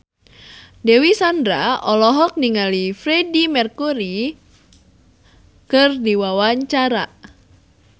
Dewi Sandra olohok ningali Freedie Mercury keur diwawancara